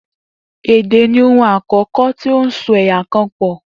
Èdè ni ohun àkó̩kó̩ tí ó so è̩yà kan pò